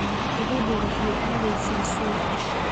Gabadhu waxay aadaysaa suuqa